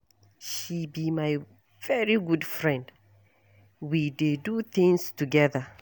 She be my very good friend, we dey do things together.